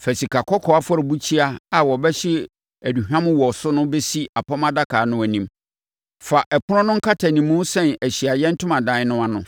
Fa sikakɔkɔɔ afɔrebukyia a wɔbɛhye aduhwam wɔ so no bɛsi Apam Adaka no anim. Fa ɛpono no nkatanimu sɛn Ahyiaeɛ Ntomadan no ano.